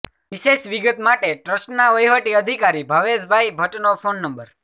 વિશેષ વિગત માટે ટ્રસ્ટના વહીવટી અધિકારી ભાવેનભાઇ ભટ્ટનો ફોન નં